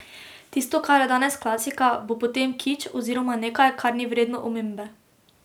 Tisto, kar je danes klasika, bo potem kič oziroma nekaj, kar ni vredno omembe.